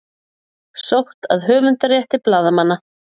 Sótt að höfundarétti blaðamanna